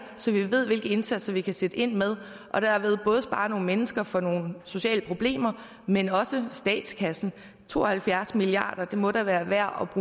så vi ved hvilke indsatser vi kan sætte ind med og derved både kan spare nogle mennesker for nogle sociale problemer men også statskassen to og halvfjerds milliarder det må da være værd at